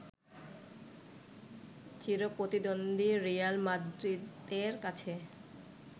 চিরপ্রতিদ্বন্দ্বী Real মাদ্রিদের কাছে